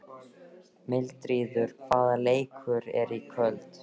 Mildríður, hvaða leikir eru í kvöld?